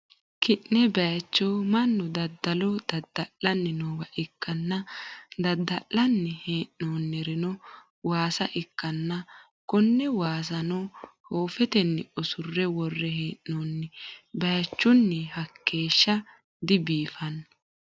kinne bayicho mannu daddalo dadda'lanni noowa ikkanna, daddallanni hee'noonnirino waasa ikkanna , konne waasano hoofetenni usurre worre hee'noonni, bayichuno hakkeeshsha dibiifanno.